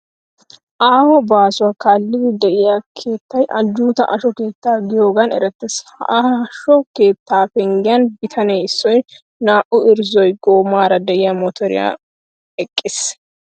Aaho baasuwa kaallidi de'iya keettay ajjuutaa asho keetta gidiyoogan erettees. Ha asho keettaa penggiyan bitane issoy naa"u irzzo goomaara de'iya motoriyara eqqiis.